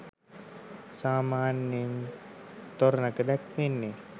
සාමාන්‍යයෙන් තොරණක දැක්වෙන්නේ